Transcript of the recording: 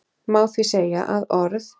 Má því segja að orð